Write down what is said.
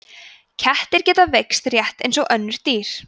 kettir geta veikst rétt eins og öll önnur dýr